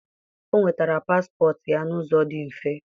o nwetara paspọtụ ya n'ụzọ dị mfe.